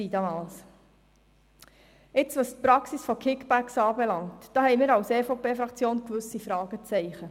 Jetzt zur Praxis von Kickbacks: Da haben wir als EVP-Fraktion gewisse Fragezeichen.